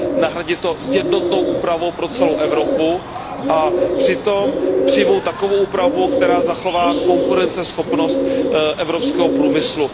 Nahradit to jednotnou úpravou pro celou Evropu a přitom přijmout takovou úpravu, která zachová konkurenceschopnost evropského průmyslu.